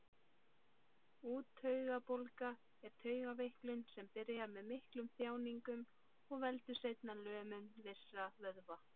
Úttaugabólga er taugaveiklun sem byrjar með miklum þjáningum og veldur seinna lömun vissra vöðva.